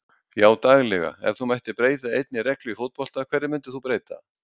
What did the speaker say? Já daglega Ef þú mættir breyta einni reglu í fótbolta, hverju myndir þú breyta?